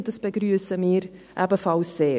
Dies begrüssen wir ebenfalls sehr.